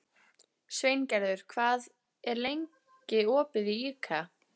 Sveingerður, hvað er lengi opið í IKEA?